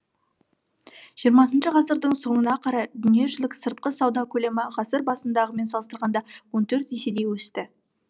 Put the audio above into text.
жиырмасыншы ғасырдың соңына қарай дүниежүзілік сыртқы сауда көлемі ғасыр басындағымен салыстырғанда он төрт еседей өсті